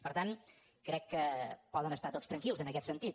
per tant crec que poden estar tots tranquils en aquest sentit